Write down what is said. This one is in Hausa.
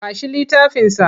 Ba shi littafinsa!